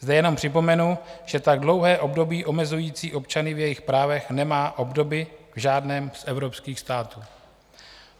Zde jenom připomenu, že tak dlouhé období omezující občany v jejich právech nemá obdoby v žádném z evropských států.